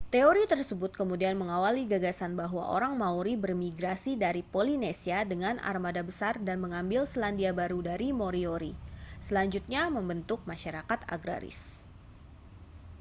teori tersebut kemudian mengawali gagasan bahwa orang maori bermigrasi dari polinesia dengan armada besar dan mengambil selandia baru dari moriori selanjutnya membentuk masyarakat agraris